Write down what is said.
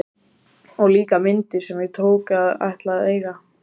Og líka myndir sem ég tók og ætla að eiga!